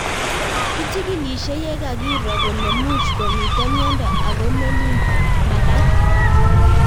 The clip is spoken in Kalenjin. Kichigilishe ye kakiro kole much ko mito miondo, ako melin magát